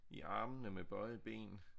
I armene med bøjede ben